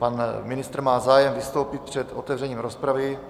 Pan ministr má zájem vystoupit před otevřením rozpravy.